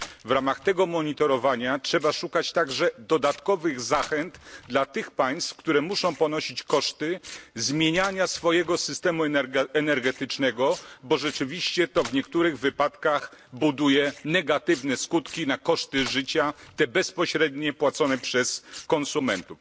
W ramach tego monitorowania trzeba szukać także dodatkowych zachęt dla tych państw, które muszą ponosić koszty zmieniania swojego systemu energetycznego, bo rzeczywiście to w niektórych wypadkach buduje negatywne skutki dla kosztów życia, te bezpośrednie, płacone przez konsumentów.